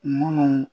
Munnu